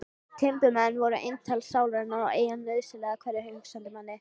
Timburmenn voru eintal sálarinnar og eiginlega nauðsynlegir hverjum hugsandi manni.